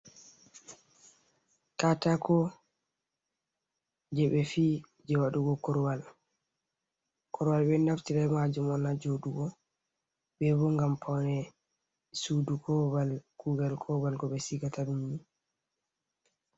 Katako je ɓe fi'i, je waɗugo korwal korwal ɓeɗo naftira be majum on ha joɗugo bebo ngam pone sudu, ko babal kugal ko babal ɓe sigataɗum.